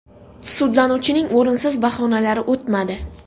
Sudlanuvchining o‘rinsiz bahonalari o‘tmadi.